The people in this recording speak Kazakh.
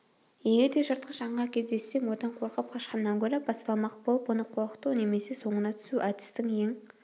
егер де жыртқыш аңға кездессең одан қорқып қашқаннан гөрі бассалмақ болып оны қорқыту немесе соңына тусу әдістің ең